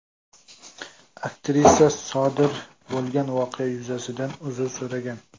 Aktrisa sodir bo‘lgan voqea yuzasidan uzr so‘ragan.